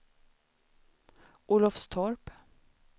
Olofstorp